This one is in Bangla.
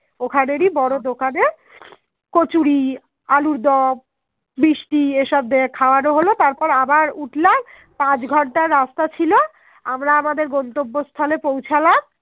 মিষ্টি এসব খাওয়ানো হলো তারপর আবার উঠলাম পাঁচ ঘন্টার রাস্তা ছিল আমরা আমাদের গন্তব্য স্থলে পৌছালাম